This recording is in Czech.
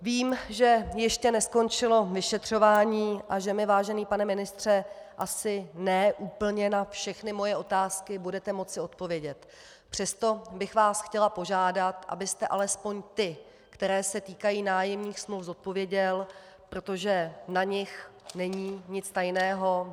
Vím, že ještě neskončilo vyšetřování a že mi, vážený pane ministře, asi ne úplně na všechny moje otázky budete moci odpovědět, přesto bych vás chtěla požádat, abyste alespoň ty, které se týkají nájemních smluv, zodpověděl, protože na nich není nic tajného.